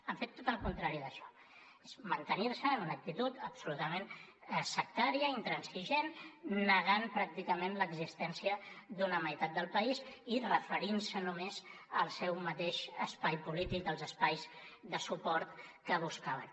han fet tot el contrari d’això és mantenir se en una actitud absolutament sectària i intransigent negant pràcticament l’existència d’una meitat del país i referint se només al seu mateix espai polític els espais de suport que buscaven